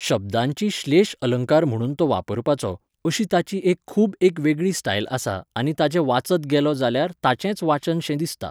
शब्दांची श्लेश अलंकार म्हणून तो वापरपाचो, अशी ताची एक खूब एक वेगळी स्टायल आसा आनी ताचें वाचत गेलो जाल्यार ताचेंच वाचन शें दिसता.